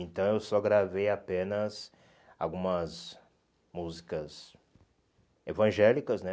Então eu só gravei apenas algumas músicas evangélicas, né?